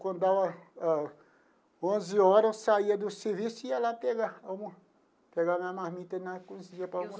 Quando dava ah onze horas, eu saía do serviço e ia lá pegar uma pegar a minha marmita na cozinha para.